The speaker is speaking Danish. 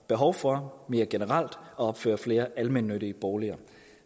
behov for mere generelt at opføre flere almennyttige boliger